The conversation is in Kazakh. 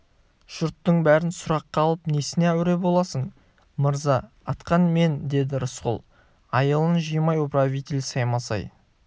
жұрттың бәрін сұраққа алып несіне әуре боласың мырза атқан мен деді рысқұл айылын жимай управитель саймасай